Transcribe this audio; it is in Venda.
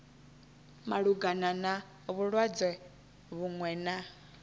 malugana na vhulwadze vhuṅwe na